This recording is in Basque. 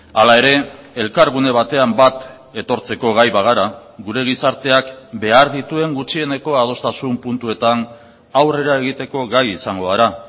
hala ere elkargune batean bat etortzeko gai bagara gure gizarteak behar dituen gutxieneko adostasun puntuetan aurrera egiteko gai izango gara